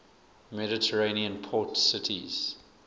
mediterranean port cities